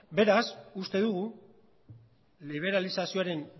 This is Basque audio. beraz uste dugu liberalizazioren